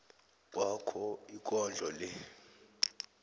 kwakho ikondlo le